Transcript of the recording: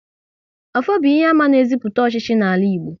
Ọfọ bụ ihe àmà na eziputa ọchịchị n'ala Igbo